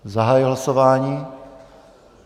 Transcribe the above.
Zahajuji hlasování.